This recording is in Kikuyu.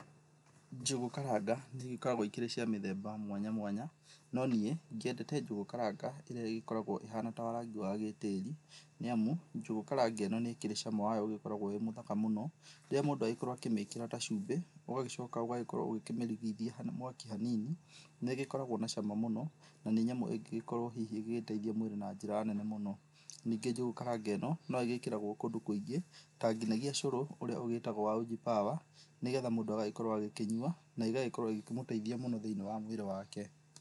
Njũgũ karanga nĩ igĩkoragwo ikĩrĩ cia mĩthemba mwanya mwanya. No niĩ ngĩendete njũgũ karanga ĩrĩa ĩgĩkoragwo ĩhana ta wa rangi ta wa gĩtĩĩri nĩ amu njũgũ karanga ĩno nĩ ĩkĩrĩ cama wayo ũgĩkoragwo ũrĩ mũthaka mũno. Rĩrĩa mũndũ agĩkorwo akĩmĩkĩra ta cumbĩ, ũgagĩcoka ũgakorwo ũkĩmĩrigithia mwaki hanini, nĩ ĩgĩkoragwo na cama mũno na nĩ nyamũ ingĩgĩkorwo hihi ĩgĩteithia mwĩrĩ na njĩra nene mũno. Ningĩ njũgũ karanga ĩno no ĩgĩkĩragwo kũndũ kũingĩ, ta nginyagia ũcũrũ ũrĩa ũgĩtagwo wa Uji Power nĩ getha mũndũ agagĩkorwo agĩkĩnyua na igagĩkorwo igĩkĩmũteithia mũno thĩinĩ wa mwíĩrĩ wake.